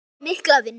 Fái mikla vinnu.